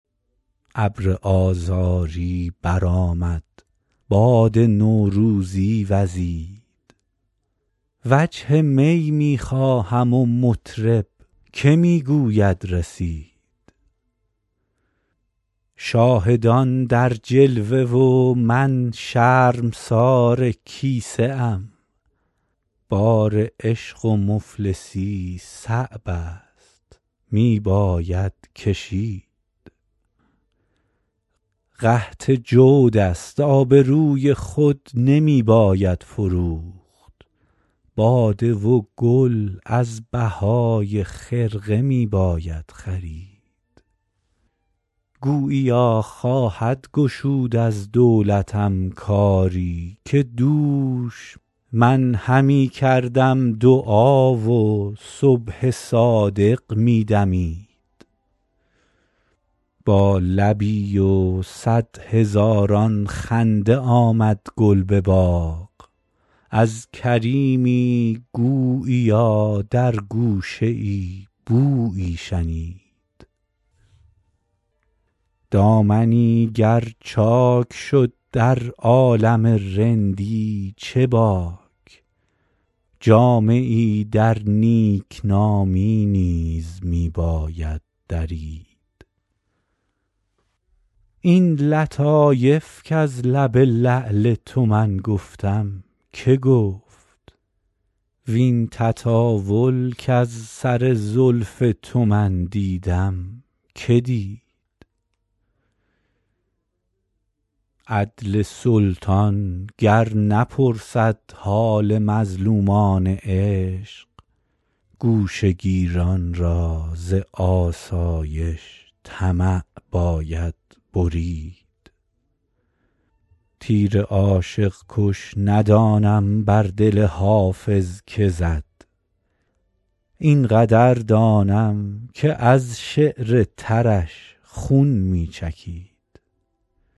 ابر آذاری برآمد باد نوروزی وزید وجه می می خواهم و مطرب که می گوید رسید شاهدان در جلوه و من شرمسار کیسه ام بار عشق و مفلسی صعب است می باید کشید قحط جود است آبروی خود نمی باید فروخت باده و گل از بهای خرقه می باید خرید گوییا خواهد گشود از دولتم کاری که دوش من همی کردم دعا و صبح صادق می دمید با لبی و صد هزاران خنده آمد گل به باغ از کریمی گوییا در گوشه ای بویی شنید دامنی گر چاک شد در عالم رندی چه باک جامه ای در نیکنامی نیز می باید درید این لطایف کز لب لعل تو من گفتم که گفت وین تطاول کز سر زلف تو من دیدم که دید عدل سلطان گر نپرسد حال مظلومان عشق گوشه گیران را ز آسایش طمع باید برید تیر عاشق کش ندانم بر دل حافظ که زد این قدر دانم که از شعر ترش خون می چکید